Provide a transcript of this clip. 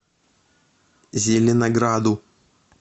зеленограду